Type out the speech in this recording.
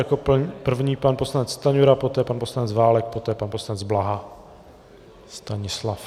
Jako první pan poslanec Stanjura, poté pan poslanec Válek, poté pan poslanec Blaha Stanislav.